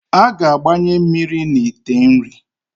A ga-agbanye mmiri na ite nri.